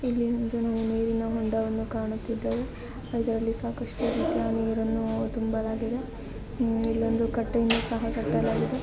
ಇಲ್ಲಿ ಒಂದು ನೀರಿನ ಹೊಂಡವನ್ನು ಕಾಣುತ್ತಿದ್ದೇವೆ.